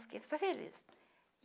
Fiquei super feliz.